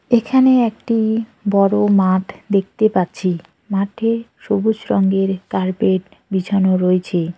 এখানে একটি বড়ো মাঠ দেখতে পাচ্ছি মাঠে সবুজ রঙের কার্পেট বিছানো রয়েছে।